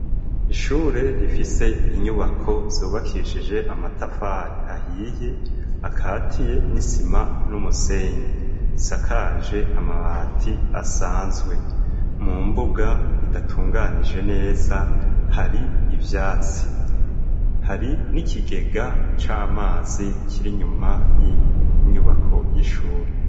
Ishure rifise inyubako zubakishije amatafari ahiye akatiye n'isima n'umusenyi sakaje amabati asanzwe. Mu mbuga idatunganije neza hari ibyatsi hari n'ikigega c'amazi kiri nyuma y'inyubako y'ishure.